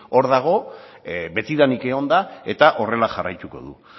hor dago betidanik egon da eta horrela jarraituko du